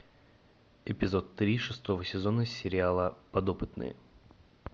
эпизод три шестого сезона сериала подопытные